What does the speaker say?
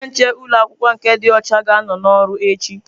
Onye nche ụlọ akwụkwọ nke dị ọcha ga-anọ n'ọrụ echi.